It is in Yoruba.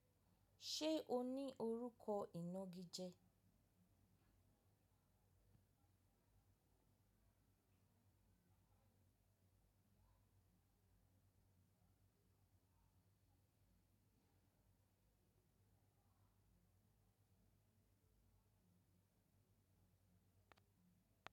Ṣe o ni orukọ inaa gije?